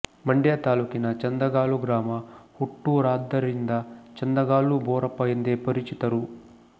ಮಂಡ್ಯ ತಾಲೂಕಿನ ಚಂದಗಾಲು ಗ್ರಾಮ ಹುಟ್ಟೂರಾದ್ದರಿಂದ ಚಂದಗಾಲು ಬೋರಪ್ಪ ಎಂದೇ ಪರಿಚಿತರು